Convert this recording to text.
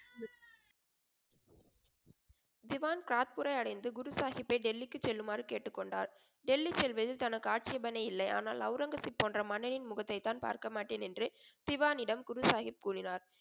திவான் சாத்பூரை அடைந்து குரு சாகிப்பை டெல்லிக்கு செல்லுமாறு கேட்டுக்கொண்டார். டெல்லி செல்வதில் தனக்கு ஆட்சேபனை இல்லை. ஆனால் ஒளரங்கசீப் போன்ற மன்னனின் முகத்தைத் தான் பார்க்கமாட்டேன் என்று திவானிடம் குருசாகிப் கூறினார்.